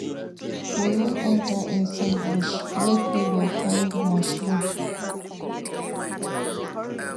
We wan enter inside bush make we go find mushroom.